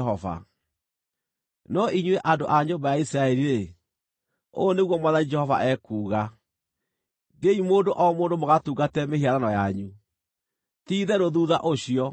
“ ‘No inyuĩ andũ a nyũmba ya Isiraeli-rĩ, ũũ nĩguo Mwathani Jehova ekuuga: Thiĩi mũndũ o mũndũ mũgatungatĩre mĩhianano yanyu! Ti-itherũ thuutha ũcio,